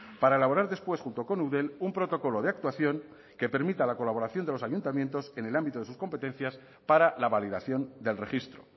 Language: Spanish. para elaborar después junto con eudel un protocolo de actuación que permita la colaboración de los ayuntamientos en el ámbito de sus competencias para la validación del registro